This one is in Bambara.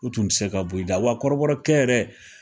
U tun te se ka bɔ i da wa kɔrɔbrɔ kɛ yɛrɛ